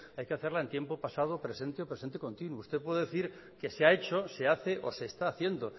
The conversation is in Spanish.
hay que hacerla en tiempo pasado presente o presente continua usted puede decir que se ha hecho se hace o se está haciendo